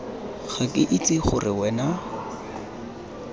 ga ke itse gore wena